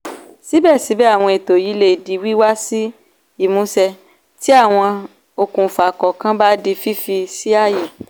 síbẹ̀síbẹ̀ àwọn ètò yìí lè di wíwá sí ìmúṣẹ tí àwọn okùnfà kọ̀ọ̀kan bá di fífi sí ààyè.